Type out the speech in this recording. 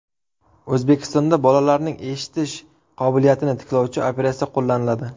O‘zbekistonda bolalarning eshitish qobiliyatini tiklovchi operatsiya qo‘llaniladi.